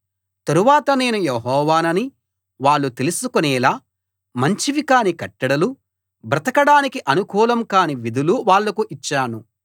తరువాత నేను యెహోవానని వాళ్ళు తెలుసుకునేలా మంచివి కాని కట్టడలు బ్రతకడానికి అనుకూలం కాని విధులు వాళ్ళకు ఇచ్చాను